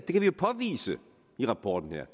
jo påvise i rapporten her